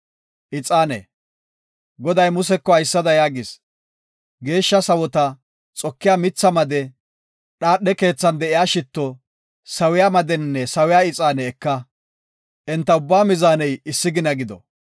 Goday Museko haysada yaagis; “Geeshsha sawota, xokiya mitha made, dhaadhe keethan de7iya shitto, sawiya madenne sawiya ixaane eka; enta ubbaa mizaaney issi gina gido.